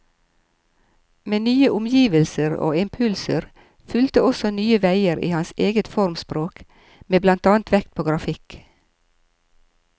Med nye omgivelser og impulser fulgte også nye veier i hans eget formspråk, med blant annet vekt på grafikk.